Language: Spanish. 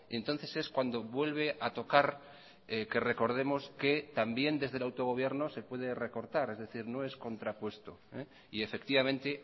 entonces es cuando vuelve a tocar que recordemos que también desde el autogobierno se puede recortar es decir no es contrapuesto y efectivamente